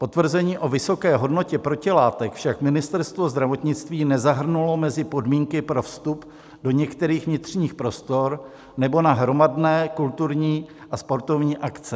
Potvrzení o vysoké hodnotě protilátek však Ministerstvo zdravotnictví nezahrnulo mezi podmínky pro vstup do některých vnitřních prostor nebo na hromadné kulturní a sportovní akce.